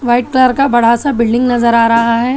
White colour का बड़ा सा बिल्डिंग नजर आ रहा है।